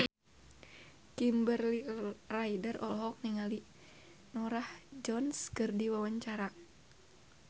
Kimberly Ryder olohok ningali Norah Jones keur diwawancara